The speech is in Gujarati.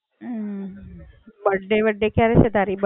birthday -વર્થડે ક્યારે છે તારી બર્થડે?